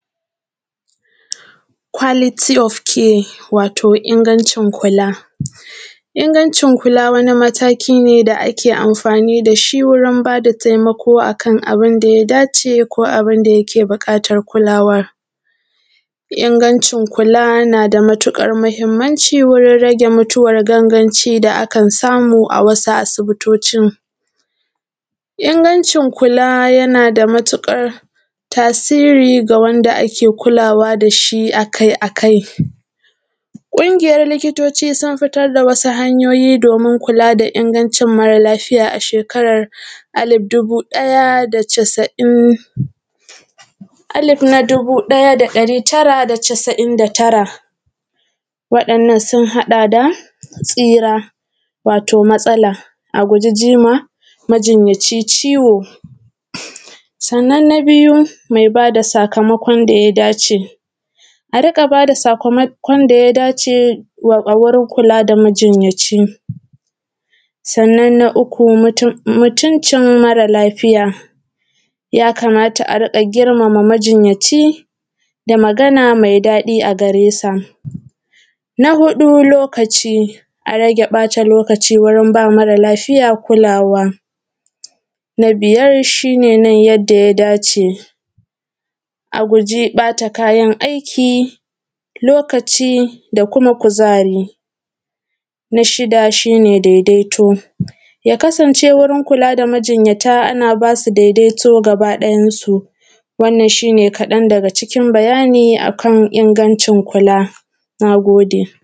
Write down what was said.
Kwaliti of care wato ingancin kula. Ingancin kula wani mataki ne da ake amfani da shi wurin bada taimako akan abun da ya dace ko abun da ake buƙatar kulawar ingancin kula na da matuƙar mahimmanci wurin rage mutuwar ganganci da akan samu a wasu asibitocin ingancin kula yana da matuƙar tasiri ga wanda ake kulawa da shi akai-akai, ƙungiyar likitoci sun fitar da wasu hanyoyi domin kula da inganci mara lafiya a shekarar alif dubu ɗaya da casa’in, alif na dubu ɗaya da ɗari tara da casa’in da tara waɗaannan sun haɗa da tsira wato matsala a guji jima majinyaci ciwo sannan na biyu mai ba da sakamakon da ya dace a rinƙa ba da sakamakon da ya dace wa a wurin kula da majinyaci sannan na uku mutuncin mara lafiya ya kamata a riƙa giramama majinyaci da magana mai daɗi a garesa na hudu lokaci a rage ɓata lokaci wurin ba mara lafiya kulswa na biyar shi ne kamar yadda ya dace. A guji ba ta kayan aiki lokaci da kuma kuzari na shida shi ne daidaito ya kasance wurin kula da majinyata, ana ba su daidaito gaba ɗayansu wananan shine kaɗan daga cikin bayani akan ingancin kula. Na gode.